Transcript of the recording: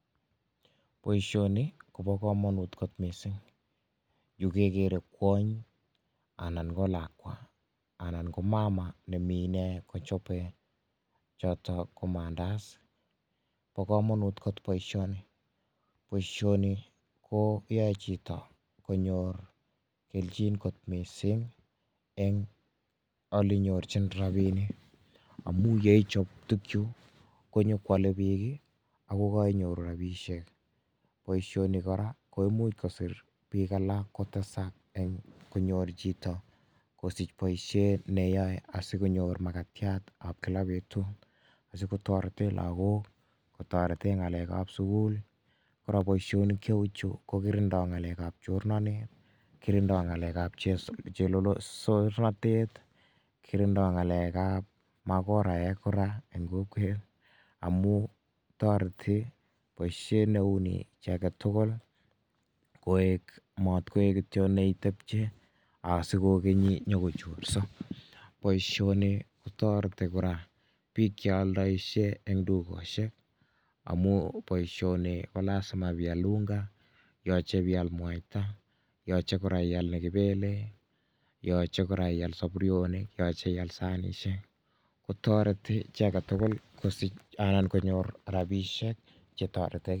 Boishoni kobokomonut mising, yuu kekere kwony anan ko lakwa anan ko mama nemii inee kochobe chotok ko mandazi, bokomonut kot boishoni, boishoni ko kiyoe chito konyor kelchin kot mising eng' olenyorchin rabinik amun yeichop tukuchu konyo kwole biik ak koinyoru rabishek, boishoni kora ko imuch kosir biik alak kotesak eng' konyor chito kosich boishet neyoe asikonyor makatiatab kila betut asikotoreten lokok kotoreten ng'alekab sukul, kora boishonik cheuchu ko kirindo ng'alekab chornonet, kirindo ngalekab chelolosorotet, kirindo ngalekab makoraek kora eng' kokwet amun toreti boishet neuni chii aketukul koik moot koik kityo neitebche asikokeni nyokochorso, boishoni kotoreti kora biik cheoldoishe eng' dukoshek amun boishoni ko lasima ibeial unga, yoche beial mwaita, yoche kora ial nekibele, yoche kora ial soburonok, yoche ial sanishek, kotoreti chii aketukul kosich anan konyor rabishek chetoreti.